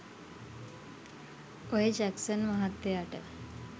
ඔය ජැක්සන් මහත්තයට